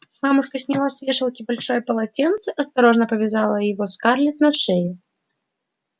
мамушка сняла с вешалки большое полотенце осторожно повязала его скарлетт на шею